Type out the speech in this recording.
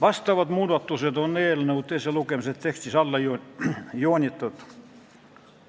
Need muudatused on eelnõu teise lugemise tekstis alla joonitud.